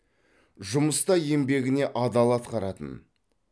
жұмыста еңбегіне адал атқаратын